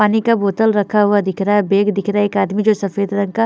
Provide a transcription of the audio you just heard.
पानी का बोटल रखा हुआ दिख रहा है बैग दिख रहा है एक आदमी जो सफ़ेद रंग का--